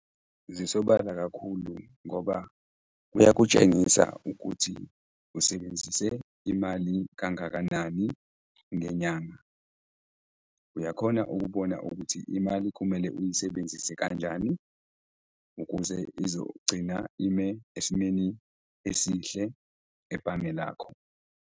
Zisobala kakhulu ngoba kuyakutshengisa ukuthi usebenzise imali kangakanani ngenyanga. Uyakhona ukubona ukuthi imali kumele uyisebenzise kanjani ukuze izogcina ime esimeni esihle ebhange lakho.